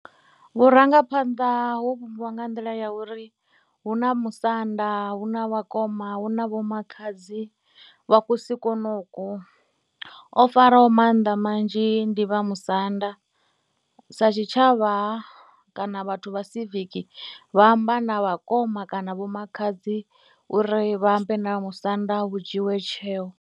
Vhurangaphanḓa ho vhumbiwa nga nḓila ya uri hu na musanda, hu na vhakoma, hu na vho makhadzi vha kusi konoko. O faraho maanḓa manzhi ndi vha musanda, sa tshitshavha kana vhathu vha siviki vha amba na vhakoma kana vhomakhadzi uri vha ambe na musanda vhu dzhiiwe tsheo.